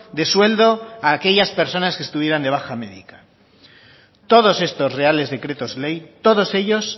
de sueldo a aquellas personas que estuvieran de baja médica todos estos reales decretos ley todos ellos